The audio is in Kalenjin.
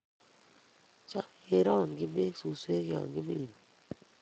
cham ke rong'chini beek suswek ya kiimen